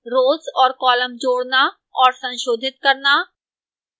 rows और columns जोड़ना और संशोधित करना